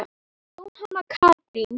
Jóhanna Katrín.